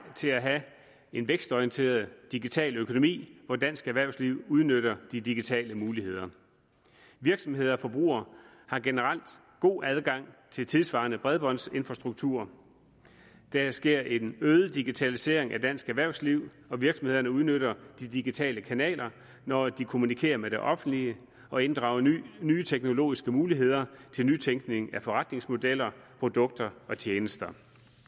til at have en vækstorienteret digital økonomi hvor dansk erhvervsliv udnytter de digitale muligheder virksomheder og forbrugere har generelt god adgang til tidssvarende bredbåndsinfrastruktur der sker en øget digitalisering af dansk erhvervsliv og virksomhederne udnytter de digitale kanaler når de kommunikerer med det offentlige og inddrager nye teknologiske muligheder til nytænkning af forretningsmodeller produkter og tjenester